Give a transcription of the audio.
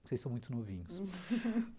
Vocês são muito novinhos